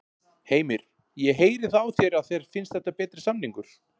Heimir: Ég heyri það á þér að þér finnst þetta betri samningur?